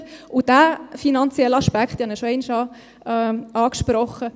Und diesen finanziellen Aspekt habe ich schon einmal angesprochen: